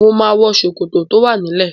Mo máa wọ ṣòkòtò tó wà nílé.